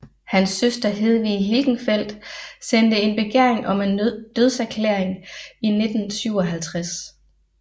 Hans søster Hedwig Hilgenfeldt sendte en begæring om en dødserklæring i 1957